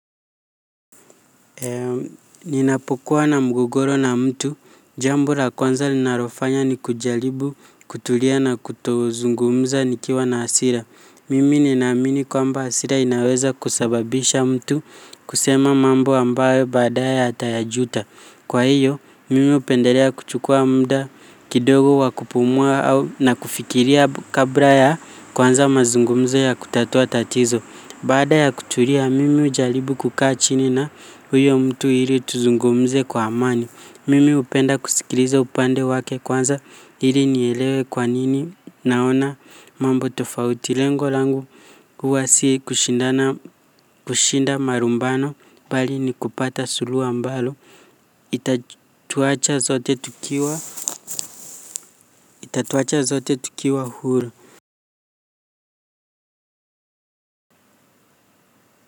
Ninapokuwa na mgogoro na mtu, jambo la kwanza linalofanya ni kujaribu kutulia na kuto zungumza nikiwa na hasira. Mimi ninaamini kwamba hasira inaweza kusababisha mtu kusema mambo ambayo baadaye ata yajuta. Kwa hiyo, mimi hupendelea kuchukua muda kidogo wa kupumua na kufikiria kabla ya kuanza mazungumzo ya kutatua tatizo. Baada ya kutulia, mimi hujaribu kukaa chini na huyo mtu ili tuzungumze kwa amani. Mimi hupenda kusikiliza upande wake kwanza ili nielewe kwanini naona mambo tofauti lengo langu. Huwa si kushinda marumbano, bali ni kupata suluhu ambalo. Itatuacha sote tukiwa huru.